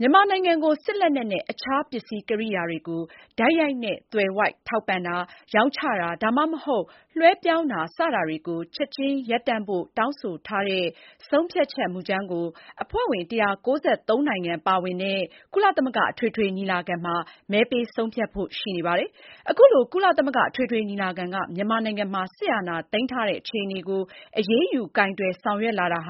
မြန်မာနိုင်ငံကို စစ်လက်နက်နဲ့ အခြားပစ္စည်းကိရိယာတွေကို တိုက်ရိုက်နဲ့ သွယ်ဝိုက်ထောက်ပံ့ခြင်း၊ ရောင်းချခြင်း သို့မဟုတ် လွဲှပြောင်းခြင်း စတာတွေကိုချက်ချင်းရပ်တန့်ဖို့ တောင်းဆိုထားတဲ့ ဆုံးဖြတ်ချက်မူကြမ်းကို အဖွဲ့ဝင် ၁၉၃ နိုင်ငံပါဝင်တဲ့ ကုလသမဂ္ဂအထွေထွေညီလာခံမှာ မဲပေးဆုံးဖြတ်ဖို့ရှိနေပါတယ်။ အခုလို ကုလအထွေထွေညီလာခံက မြန်မာနိုင်ငံမှာ စစ်အာဏာသိမ်းထားတဲ့ အခြေအနေကို အရေးယူကိုင်တွယ်ဆောင်ရွက်လာတာ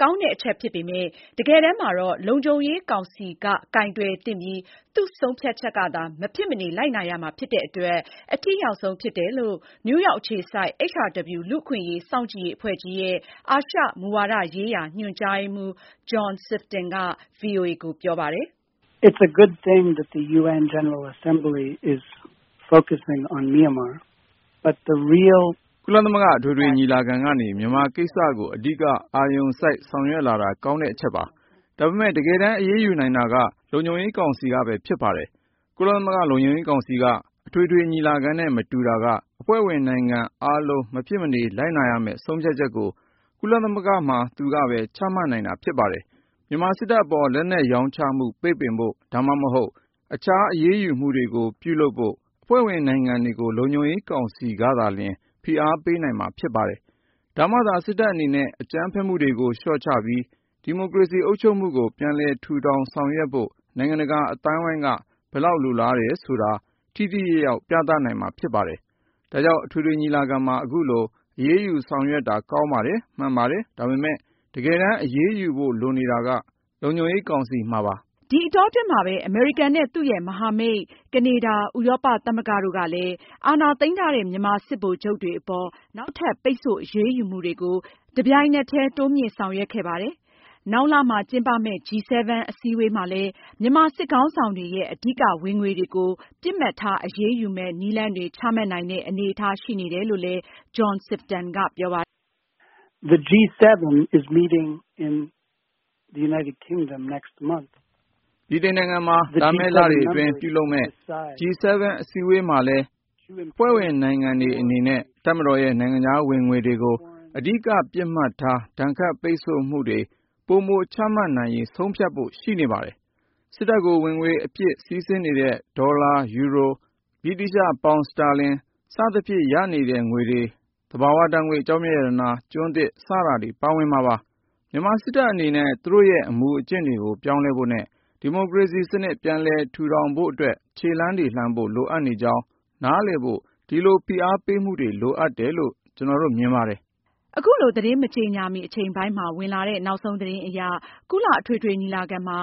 ကောင်းတဲ့အချက်ဖြစ်ပေမယ့် တကယ်တမ်းမှာတော့ လုံခြုံရေးကောင်စီအနေနဲ့ ကိုင်တွယ်သင့်ပြီး သူ့ ဆုံးဖြတ်ချက်ကသာ မဖြစ်မနေ လိုက်နာရမှာဖြစ်တဲ့အတွက် အထိရောက်ဆုံးဖြစ်တယ်လို့ နယူးရောက်အခြေစိုက် HRW လူ့အခွင့်အရေး စောင့်ကြည့်ရေးအဖွဲ့ကြီးရဲ့ အာရှမူဝါဒရေးရာ ညွန်ကြားရေးမှူး John Sifton က ဗွီအိုအေကို ပြောပါတယ်။ “ကုလသမဂ္ဂအထွေထွေညီလာခံကနေ မြန်မာကိစ္စကို အဓိကအာရုံစိုက်ဆောင်ရွက်လာတာ ကောင်းတဲ့အချက်ပါ။ ဒါပေမယ့် တကယ်တမ်း အရေးယူနိုင်တာက လုံခြုံရေးကောင်စီကပဲဖြစ်ပါတယ်။ ကုလသမဂ္ဂလုံခြုံရေးကောင်စီက အထွေထွေညီလာခံနဲ့ မတူတာက အဖွဲ့ဝင်နိုင်ငံအားလုံး မဖြစ်မနေလိုက်နာရမယ့် ဆုံးဖြတ်ချက်ကို ကုလသမဂ္ဂမှာ သူကပဲ ချမှတ်နိုင်တာဖြစ်ပါတယ်။ မြန်မာစစ်တပ်အပေါ် လက်နက်ရောင်းချမှု ပိတ်ပင်ဖို့ ဒါမှမဟုတ် အခြားအရေးယူမှုတွေကို ပြုလုပ်ဖို့ အဖွဲ့ဝင်နိုင်ငံတွေကို လုံခြုံရေးကောင်စီကသာလျှင် ဖိအားပေးနိုင်မှာဖြစ်ပါတယ်။ ဒါမှသာလျှင် စစ်တပ်အနေနဲ့ အကြမ်းဖက်မှုတွေကို လျှော့ချပြီး ဒီမိုကရေစီ အုပ်ချုပ်မှုကို ပြန်လည်ထူထောင်ဆောင်ရွက်ဖို့ နိုင်ငံတကာအသိုင်းအဝိုင်းက ဘယ်လောက်လိုလားတယ်ဆိုတာ ထိထိရောက်ရောက် ပြသနိုင်မှာဖြစ်ပါတယ်။ ဒါကြောင့် အထွေထွေညီလာခံမှာ အခုလို အရေးယူဆောင်ရွက်တာ ကောင်းတယ်၊ မှန်ကန်တယ်။ ဒါပေမဲ့ တကယ်တမ်းအရေးယူဖို့လိုနေတာက လုံခြံရေးကောင်စီမှာပါ။” ဒီအတောအတွင်းမှာပဲ အမေရိကန်နဲ့ သူ့ရဲ့မဟာမိတ် ကနေဒါ၊ ဥရောပသမဂ္ဂတို့ကလည်း အာဏာသိမ်းထားတဲ့ မြန်မာစစ်ဗိုလ်ချုပ်တွေအပေါ် နောက်ထပ် ပိတ်ဆို့ အရေးယူမှုတွေကို အင်္ဂါနေ့က တပြိုင်နက်တည်း တိုးမြှင့်ဆောင်ရွက်ခဲ့ပါတယ်။ နောက်လမှာ ကျင်းပမယ့် G-7 အစည်းအဝေးမှာလည်း မြန်မာစစ်ခေါင်းဆောင်တွေရဲ့ အဓိကဝင်ငွေတွေကို ပစ်မှတ်ထား အရေးယူမယ့် နည်းလမ်းတွေ ချမှတ်နိုင်တဲ့ အနေအထားရှိနေတယ်လို့ John Sifton ကပြောပါတယ်။ “ ဗြိတိန်နိုင်ငံမှာ လာမယ့်လအတွင်းပြုလုပ်မယ့် G-7 အစည်းအဝေးမှာလည်း အဖွဲ့ဝင်နိုင်ငံတွေအနေနဲ့ တပ်မတော်ရဲ့ နိုင်ငံခြားဝင်ငွေတွေကို အဓိကပစ်မှတ်ထား ဒဏ်ခတ်ပိတ်ဆို့မှုတွေကို ပိုမိုချမှတ်နိုင်ရေးဆုံးဖြတ်ဖို့ ရှိနေပါတယ်။ စစ်တပ်ကို ဝင်ငွေအဖြစ်စီးဆင်းနေတဲ့ ဒေါ်လာ၊ ယူရို၊ ဗြိတိသျှပေါင်စတာလင် စသဖြင့် ရနေတဲ့ ငွေတွေ၊ သဘာဝဓါတ်ငွေ့၊ ကျောက်မျက်ရတနာ၊ ကျွန်းသစ် စတာတွေပါဝင်မှာပါ။ မြန်မာစစ်တပ်အနေနဲ့ သူတို့ရဲ့ အမူအကျင့်တွေကို ပြောင်းလဲဖို့နဲ့ ဒီမိုကရေစီစနစ်ပြန်လည်ထူဖို့အတွက် ခြေလှမ်းတွေ လှမ်းဖို့ လိုအပ်ကြောင်းနားလည်ဖို့ ဒီလိုဖိအားပေးမှုတွေ လိုအပ်တယ်လို့ ကျနော်တို့ မြင်ပါတယ်။” အခုသတင်း မကြေညာမီ အချိန်ပိုင်းမှာ ဝင်လာတဲ့ နောက်ဆုံးသတင်းအရ ကုလအထွေထွေညီလာခံမှာ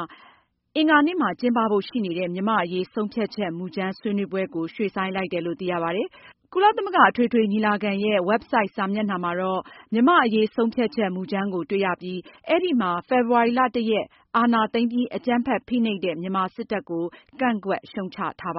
အင်္ဂါနေ့မှာ ကျင်းပဖို့ ရှိနေတဲ့ မြန်မာ့အရေး ဆုံးဖြတ်ချက်မူကြမ်းဆွေးနွေးပွဲကို ရွှေ့ဆိုင်းလိုက်တယ်လို့ သိရပါတယ်။ ကုလသမဂ္ဂအထွေထွေညီလာခံရဲ့ ဝက်ဘ်ဆိုဒ်စာမျက်နှာမှာတော့ မြန်မာ့အရေး ဆုံးဖြတ်ချက်မူကြမ်းကို တွေ့ရပြီး အဲဒီမှာ ဖေဖေါ်ဝါရီ ၁ ရက်အာဏာသိမ်းပြီး အကြမ်းဖက်ဖိနှိပ်တဲ့ မြန်မာစစ်တပ်ကို ကန့်ကွက်ရှုတ်ချထားပါ